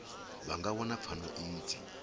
vha nga wana pfano idzi